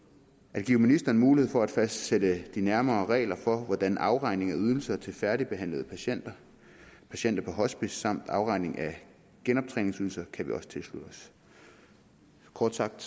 at give ministeren mulighed for at fastsætte de nærmere regler for afregning af ydelser til færdigbehandlede patienter og patienter på hospice samt afregning af genoptræningsydelser kan vi også tilslutte os kort sagt